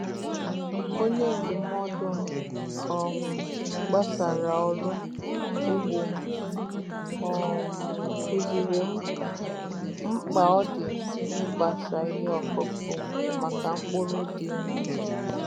Onye ndụmọdụ m um gbasara ọrụ ugbo um kụziiri m mkpa ọ dị n'ịgbasa ihe ọkụkụ maka mkpụrụ dị mma.